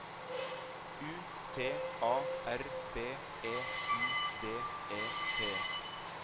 U T A R B E I D E T